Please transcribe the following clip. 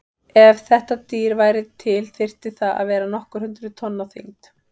Ef þetta dýr væri til þyrfti það að vera nokkur hundruð tonn á þyngd.